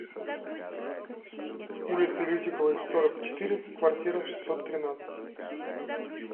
улицы лютиковой сорок четыре в квартира шестьсот тринадцать